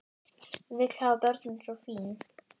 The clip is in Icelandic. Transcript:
Vill hafa börnin svo fín.